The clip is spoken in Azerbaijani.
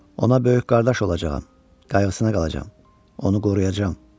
Ona böyük qardaş olacağam, qayğısına qalacam, onu qoruyacam.